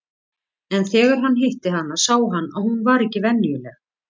En þegar hann hitti hana sá hann að hún var ekki venjuleg.